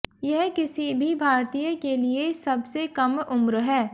यह किसी भी भारतीय के लिए सबसे कम उम्र है